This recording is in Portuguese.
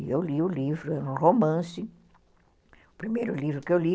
E eu li o livro, era um romance, o primeiro livro que eu li.